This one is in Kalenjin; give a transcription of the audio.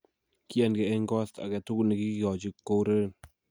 Kiyaangeh en ko.asta aketukul nekikikochi koureren